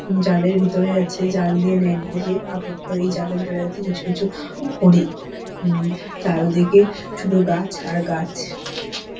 জালের ভেতরে আছে জাল দিয়ে নেট দিয়ে আবদ্ধ এই জালের ভেতরে আছে কিছু কিছু হরিণ হু চারিদিকে শুধু গাছ আর গাছ।